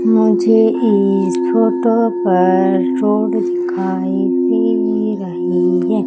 मुझे इस फोटो पर रोड दिखाई दे रही है।